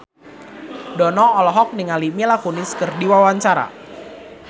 Dono olohok ningali Mila Kunis keur diwawancara